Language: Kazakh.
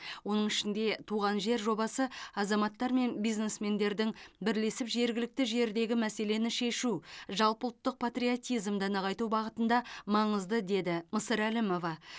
оның ішінде туған жер жобасы азаматтар мен бизнесмендердің бірлесіп жергілікті жердегі мәселені шешу жалпыұлттық патриотизмді нығайту бағытында маңызды деді мысырәлімова